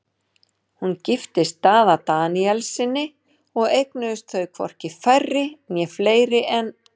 Hún giftist Daða Daníelssyni og eignuðust þau hvorki færri né fleiri en